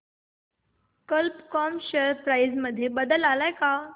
कल्प कॉम share price मध्ये बदल आलाय का